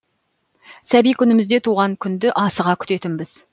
сәби күнімізде туған күнді асыға күтетінбіз